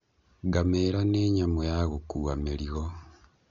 Ngamĩra nĩ nyamũ ya gũkua mĩrigo.